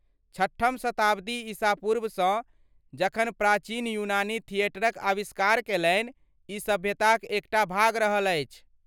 छठम शताब्दी ईस पूर्वसँ, जखन प्राचीन यूनानी थिएटरक अविष्कार कयलनि, ई सभ्यताक एक टा भाग रहल अछि।